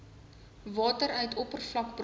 water uit oppervlakbronne